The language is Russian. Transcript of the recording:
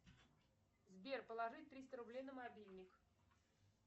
сбер положи триста рублей на мобильник